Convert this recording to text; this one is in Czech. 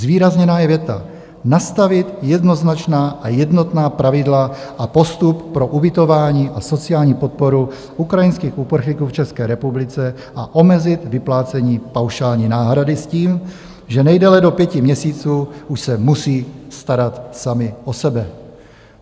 Zvýrazněna je věta: "Nastavit jednoznačná a jednotná pravidla a postup pro ubytování a sociální podporu ukrajinských uprchlíků v České republice a omezit vyplácení paušální náhrady s tím, že nejdéle do pěti měsíců už se musí starat sami o sebe."